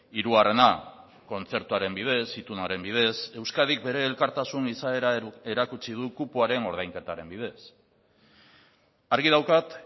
hirugarrena kontzertuaren bidez itunaren bidez euskadik bere elkartasun izaera erakutsi du kupoaren ordainketaren bidez argi daukat